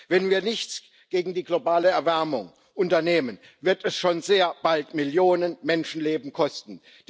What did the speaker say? Wenn wir nichts gegen die globale Erwärmung unternehmen, wird es schon sehr bald Millionen Menschenleben kosten.